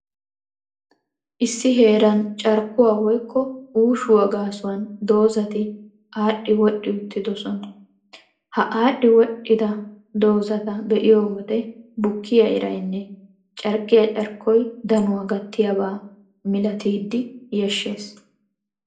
Issi heeran carkkuwaa woykko uushuwaa gaasuwan dozati adhdhi-wodhdhi uttidosona. Ha aadhdhi- wodhdhida dozata be'iyo wode bukkiyaa iraynne carkkiyaa carkkoy danuwaa gattiyaaba malatidi yashshees.